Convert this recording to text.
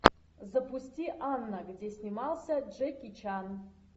запусти анна где снимался джеки чан